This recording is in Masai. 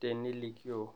tenilikioo